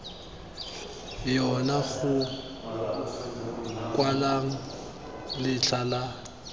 yona go kwalwang letlha la